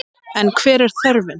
En hver er þörfin?